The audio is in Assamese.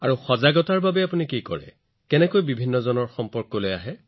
আৰু সজাগতাৰ বাবে আপুনি কি কৰে আপুনি কি ব্যৱহাৰ কৰে আপুনি মানুহৰ ওচৰলৈ কেনেকৈ যায়